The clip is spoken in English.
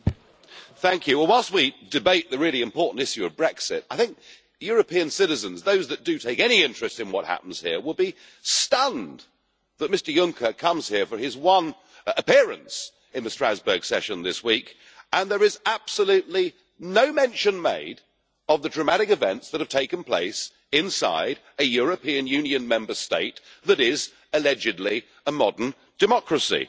Mr President, whilst we debate the really important issue of Brexit, I think European citizens those that do take any interest in what happens here will be stunned that Mr Juncker comes here for his one appearance in the Strasbourg session this week, and there is absolutely no mention made of the dramatic events that have taken place inside a European Union Member State that is, allegedly, a modern democracy.